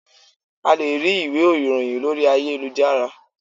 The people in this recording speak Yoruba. A lè rí ìwé ìròhìn lórí ayélujára.